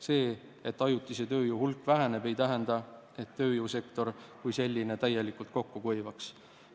See, et ajutise tööjõu hulk väheneb, ei tähenda, et tööjõusektor kui selline täielikult kokku kuivaks.